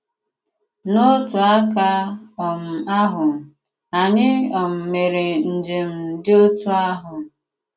N'otu àkà um àhụ, ànyị̀ um mèré njem dị otú àhụ.